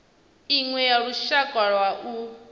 iṅwe ya lushaka lwa u